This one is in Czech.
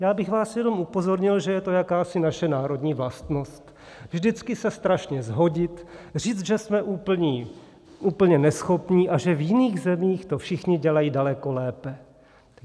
Já bych vás jenom upozornil, že je to jakási naše národní vlastnost - vždycky se strašně shodit, říct, že jsme úplně neschopní a že v jiných zemích to všichni dělají daleko lépe.